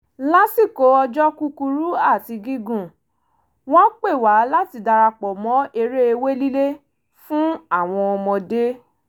lásìkò ọjọ́ kúkurú àti gígùn wọ́n pè wá láti darapọ̀ mọ́ eré ewé lílé fún àwọn ọmọdé